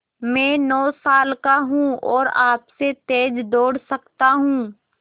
मैं नौ साल का हूँ और आपसे तेज़ दौड़ सकता हूँ